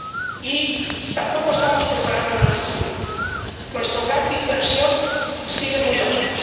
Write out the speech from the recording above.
Y tampoco estamos preparando el futuro nuestro gap de inversión sigue muy alto.